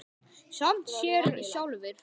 skammta sér sjálfir